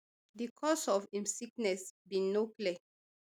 di cause of im sickness bin no clear